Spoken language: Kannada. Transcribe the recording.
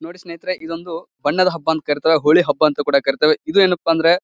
ನೋಡಿ ಸ್ನೇಹಿತರೆ ಇದೊಂದು ಬಣ್ಣದ ಹಬ್ಬ ಅಂತ ಕರೀತೇವೆ ಹೋಳಿ ಹಬ್ಬ ಅಂತ ಕೂಡ ಕರೀತೇವೆ ಇದು ಏನಪ್ಪಾ ಅಂದ್ರೆ--